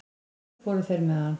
Svo fóru þeir með hann.